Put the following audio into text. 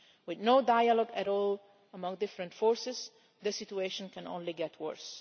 With no dialogue at all among different forces, the situation can only get worse.